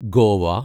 Goa